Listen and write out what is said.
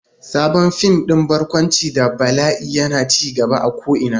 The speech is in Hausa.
Sabon fim din barkwanci da bala'i yana ci gaba a ko'ina.